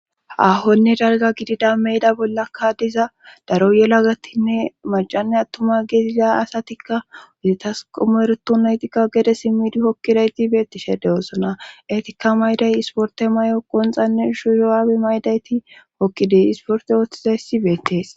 Hahonne darga gidida meyda bollakka diza daro yela gattinne macanne attuma geeziza asatikka giditas qomoereto naytikka gede simmidi hokkidayti beettishe dewosona etikka mayday isporte may7o qonxanne shuuyuwaabe maydayti hokkide isporte ooththizayssi beettees.